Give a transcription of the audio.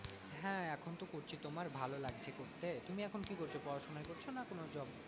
হ্যাঁ এখন তো করছি তোমার ভালো লাগছে করতে, তুমি এখন কি করছো? পড়াশোনা করছো না কোনো job করছো নাকি?